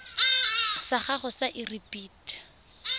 sa gago sa irp it